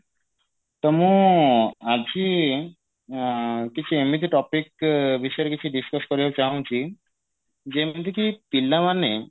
ତ ମୁଁ ଆଜି ଆ କିଛି ଏମିତି topic ବିଷୟରେ କିଛି discuss କରିବାକୁ ଚାହୁଁଛି ଯେମିତି କି ପିଲାମାନେ